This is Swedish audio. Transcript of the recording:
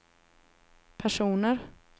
personer